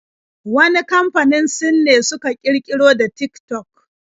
Wani kamfanin Sin ne suka ƙirƙiri da Tik-tok